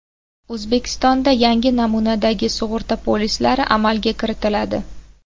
O‘zbekistonda yangi namunadagi sug‘urta polislari amalga kiritiladi.